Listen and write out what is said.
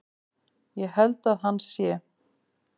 Ég held að hann sé.